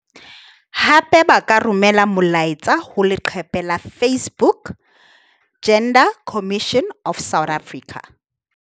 Hape ba ka romela molaetsa ho leqephe la Facebook- Gender Commission of South Africa.